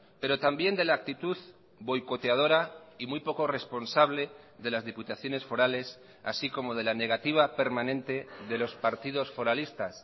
pero también de la actitud boicoteadora y muy poco responsable de las diputaciones forales así como de la negativa permanente de los partidos foralistas